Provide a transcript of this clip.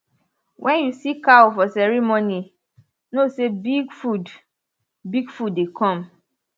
when you see cow for ceremony know say big food big food dey come